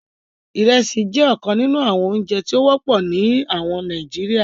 Ìrẹ̀sì jẹ ọ̀kàn nínu àwọn ọ̀ǹjẹ̀ tí o wọpọ̀ ní àwọn Nàìjíríà.